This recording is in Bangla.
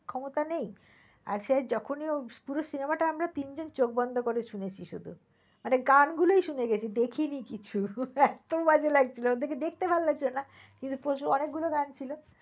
ক্ষমতা নেই আর সেই যখনই পুরো cinema টা আমরা তিন জন চোখ বন্ধ করে শুনেছি শুধু। গান গুলোই শুনে গেছি দেখিনি কিছুই একদম বাজে লাগছিল ওদের দেখতে ভাল লাগছিল না কিন্তু অনেক গুলো গান ছিল।